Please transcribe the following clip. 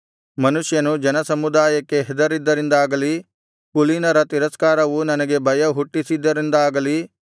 ಮನುಷ್ಯನು ಜನ ಸಮುದಾಯಕ್ಕೆ ಹೆದರಿದ್ದರಿಂದಾಗಲಿ ಕುಲೀನರ ತಿರಸ್ಕಾರವು ನನಗೆ ಭಯ ಹುಟ್ಟಿಸಿದ್ದರಿಂದಾಗಲಿ